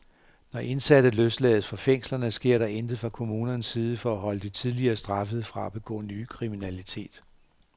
Når indsatte løslades fra fængslerne, sker der intet fra kommunernes side for at holde de tidligere straffede fra at begå ny kriminalitet.